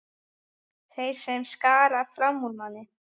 Þeir sem skara fram úr í námi.